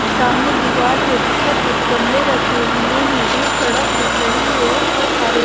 सामने दीवार है जिस पर कुछ गमले रखे हुए हैं दूर सड़क दिख रही है और बहुत सारे--